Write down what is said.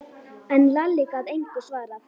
En Lalli gat engu svarað.